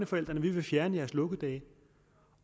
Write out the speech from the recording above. forældrene vi vil fjerne jeres lukkedage